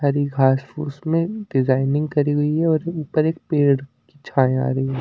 हरी घास-फूस में डिजाइनिंग करी हुई है और ऊपर एक पेड़ छाएं आ रही है।